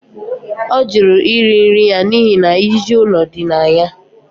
Ọ jụrụ iri nri ya n'ihi na ijiji ụlọ dị na ya